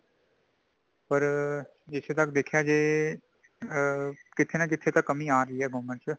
ਪਰ ਜਿੱਥੇ ਤੱਕ ਦੇਖਿਆਂ ਜਾਏ ਆ ਕਿੱਥੇ ਨਾਂ ਕਿੱਥੇ ਕੰਮਿ ਆ ਰਹੀਂ ਹੈ government ਵਿੱਚ